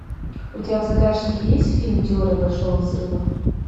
у тебя в загашнике есть фильм теория большого взрыва